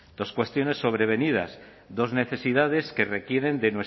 dos cuestiones sobrevenidas dos necesidades que requieren